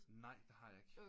Nej det har jeg ikke